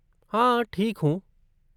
हाँ ठीक हूँ।